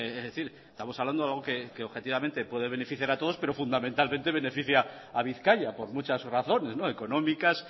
estamos hablando de algo que objetivamente puede beneficiar a todos pero fundamentalmente beneficia a bizkaia por muchas razones económicas